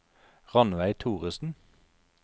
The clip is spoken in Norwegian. Rannveig Thoresen